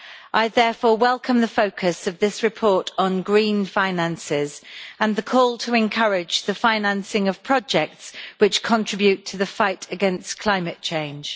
I therefore welcome the focus of this report on green finances and the call to encourage the financing of projects which contribute to the fight against climate change.